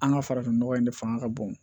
An ka farafin nɔgɔ in de fanga ka bon